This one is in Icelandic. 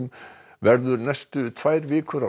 verður næstu tvær vikur á